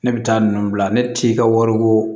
Ne bɛ taa ninnu bila ne t'i ka wari ko